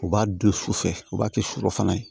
U b'a don sufɛ u b'a kɛ surɔfana ye